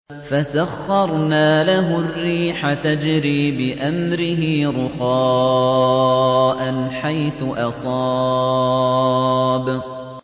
فَسَخَّرْنَا لَهُ الرِّيحَ تَجْرِي بِأَمْرِهِ رُخَاءً حَيْثُ أَصَابَ